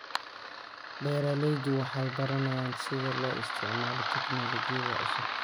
Beeraleydu waxay baranayaan sida loo isticmaalo tignoolajiyada cusub.